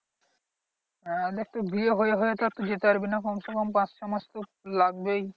হ্যাঁ দেখ তোর বিয়ে হয়ে হয়ে তো আর তুই যেতে পারবি না কমসেকম পাঁচ ছ মাস তো লাগবেই।